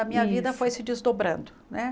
A minha Isso Vida foi se desdobrando, né?